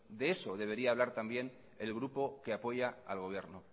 de eso debería hablar también el grupo que apoya al gobierno